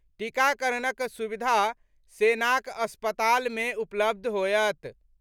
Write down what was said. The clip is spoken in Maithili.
टीकाकरणक सुविधा सेनाक अस्पताल मे उपलब्ध होयत।